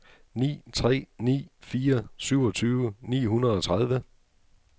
ni tre ni fire syvogtyve ni hundrede og tredive